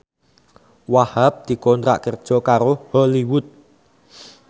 Wahhab dikontrak kerja karo Hollywood